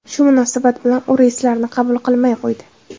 Shu munosabat bilan u reyslarni qabul qilmay qo‘ydi.